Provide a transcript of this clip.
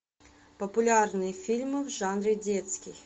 популярные фильмы в жанре детский